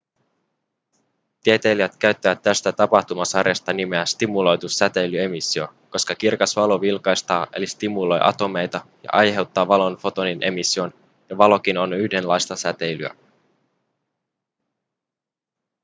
tieteilijät käyttävät tästä tapahtumasarjasta nimeä stimuloitu säteilyemissio koska kirkas valo vilkastaa eli stimuloi atomeita ja aiheuttaa valon fotonin emission ja valokin on yhdenlaista säteilyä